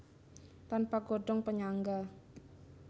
Tanpa godhong panyangga